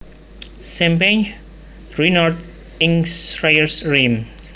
Sampanye Ruinart ing Crayères Reims